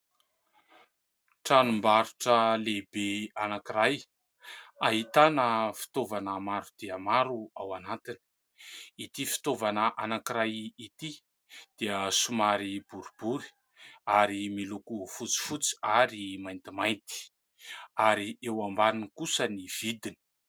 Tranombarotra lehibe anankiray, ahitana fitaovana maro dia maro ao anatiny ; ity fitaovana anankiray ity dia somary boribory ary miloko fotsifotsy ary maintimainty ary eo ambaniny kosa ny vidiny.